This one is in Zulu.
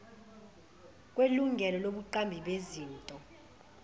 kwelungelo lobuqambi bezinto